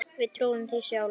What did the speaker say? Við trúðum því sjálf.